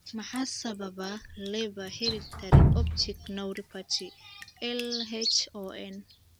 Maxaa sababa Leber herditary optic neuropathy (LHON)?